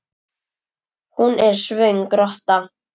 Hún er svöng rotta.